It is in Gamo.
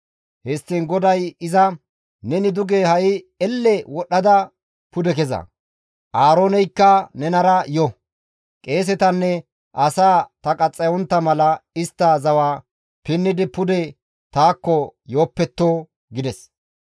Histtiin GODAY iza, «Neni duge ha7i elle wodhdhada pude keza. Aarooneykka nenara yo. Qeesetanne asaa ta qaxxayontta mala istti zawa pinnidi pude taakko yoopetto» gides.